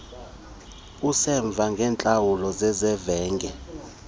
usemva ngeentlawulo zezavenge